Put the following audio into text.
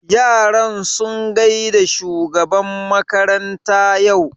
Yaran sun gaida shugaban makaranta yau?